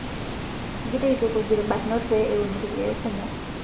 Egira aitukuj ilbarnot pee eun lkeek kumok